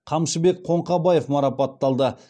қамшыбек қоңқабаев марапатталды